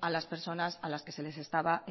a las personas a las que se les estaba